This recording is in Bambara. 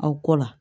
Aw kɔ la